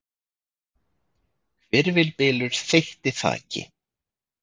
Hvirfilbylur þeytti þaki